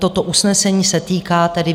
Toto usnesení se týká tedy